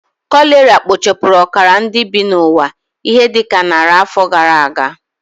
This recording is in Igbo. Kolera kpochapụrụ ọkara nke ndị bi n'ụwa ihe dị ka narị afọ gara aga